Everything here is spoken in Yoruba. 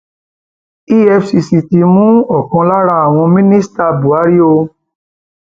efcc ti mú ọkan lára àwọn minister buhari o